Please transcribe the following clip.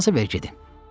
İcazə ver gedim.